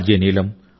Neelam are